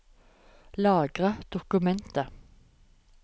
Lagre dokumentet